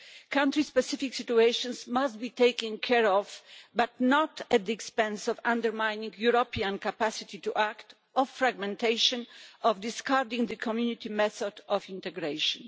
Country specific situations must be taken care of, but not at the expense of undermining the European capacity to act, of fragmentation, of discarding the Community method of integration.